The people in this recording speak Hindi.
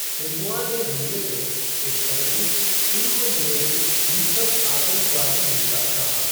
सिन्हुआ ने हमले को "एक संगठित, पूर्व नियोजित हिंसक आतंकवादी हमला" कहा।